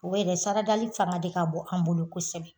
U bɛ yen dɛ saradali fanga de ka bon an bolo kosɛbɛ